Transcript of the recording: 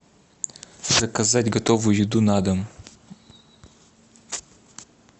заказать готовую еду на дом